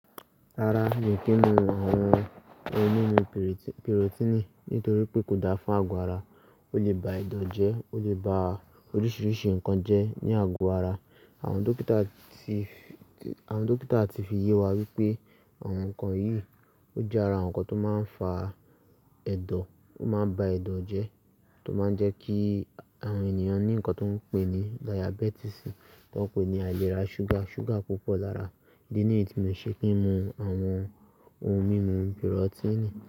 Rara, mi ò kí ń mu àwọn ohun mímu pìròtínì nítorí pé kò da fún àgọ́ ara. Ó lè ba ẹ̀dọ̀ jẹ́, ó lè ba oríṣiríṣi nǹkan jẹ́ ní àgọ́ ara. Àwọn dókítà ti, àwọn dókítà ti fi yé wa wípé àwọn nǹkan yìí, ó jẹ́ ara àwọn nǹkan tó máa ń fa ẹ̀dọ̀, ó máa ń ba ẹ̀dọ̀ jẹ́ tó máa ń jẹ́ kí àwọn ènìyàn ní nǹkan tó ń pè ní dayabítìsì, tó ń pè ní àilerà ṣúgà, ṣúgà púpọ̀ lára. Ìdí niyí tí mi ò ṣe kí ń mu àwọn ohun mímu pìròtínì.